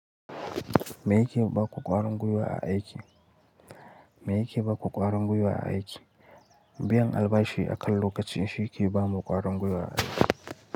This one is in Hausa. Me yake baku ƙwarin gwiyawa a aiki? Me yake bako ƙwarangwiyawa a aiki? Biyan albashi akan kacin shi ke ba ma ƙwarin gwiwa a aiki.